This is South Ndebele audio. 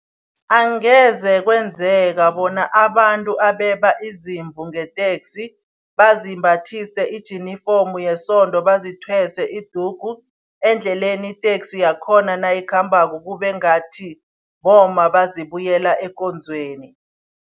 Angeze kwenzeka bona abantu abeba izimvu ngeteksi bazibathise ijinifomu yesonto, bazithwese idugu endleleni iteksi yakhona nayikhambako kube ngathi bomma bazibuyela ekonzweni.